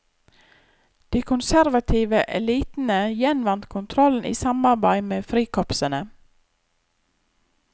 De konservative elitene gjenvant kontrollen i samarbeid med frikorpsene.